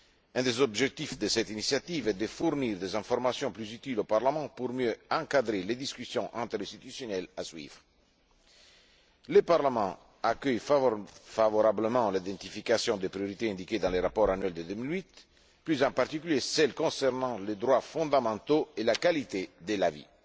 Un des objectifs de cette initiative est de fournir des informations plus utiles au Parlement pour mieux encadrer les discussions interinstitutionnelles à suivre. Le Parlement accueille favorablement l'identification des priorités indiquées dans le rapport annuel de 2008, plus particulièrement celles concernant les droits fondamentaux et la qualité de la vie.